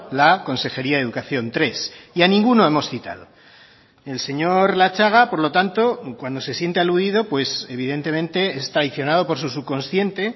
la consejería de educación tres y a ninguno hemos citado el señor latxaga por lo tanto cuando se siente aludido pues evidentemente es traicionado por su subconsciente